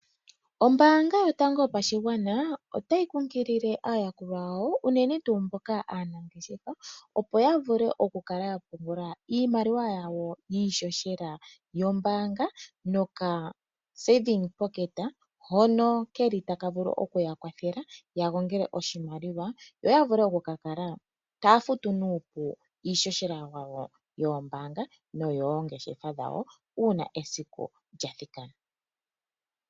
Ombaanga yotango yopashigwana otayi kunkilile aayakulwa yawo uunene tuu mboka aanangeshefa opo ya vule okukala ya pungula iimaliwa yawo yiishoshela yombaanga noka saving pocket hono keli taka vulu okuya kwathela ya gongele oshimaliwa yo ya vule okukakala taya futu nuupu iishoshela yawo yoombanga noyoongeshefa dhawo uuna esiku lya thikana.